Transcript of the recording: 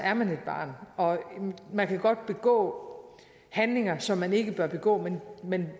er man et barn og man kan godt begå handlinger som man ikke bør begå men